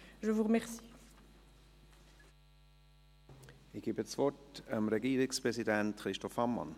Ich gebe das Wort dem Regierungspräsidenten Christoph Ammann.